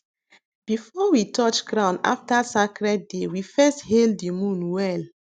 before we touch ground after sacred day we first hail the moon well